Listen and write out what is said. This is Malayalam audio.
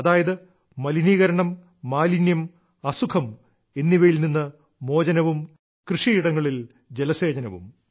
അതായത് മലിനീകരണം മാലിന്യം അസുഖം എന്നിവയിൽ നിന്ന് മോചനവും കൃഷിയിടങ്ങളിൽ ജലസേചനവും